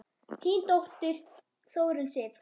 Þín dóttir, Þórunn Sif.